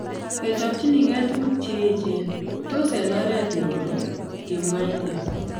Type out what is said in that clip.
"Kechobjinigei tuguk che echeen ,tos eng oreet ngoro?" kimwa inne